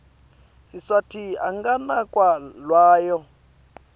siswati anganakwa lawo